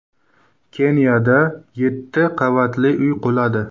Keniyada yetti qavatli uy quladi.